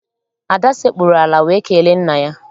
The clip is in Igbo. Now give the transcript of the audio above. Ada sekpuru ala wee kelee nna ya.